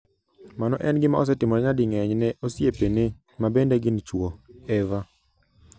Mano en gima osetimore nyading'eny ne osiepene ma bende gin chwo. Eva